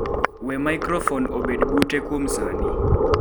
we maikrofon obed mute kuom sani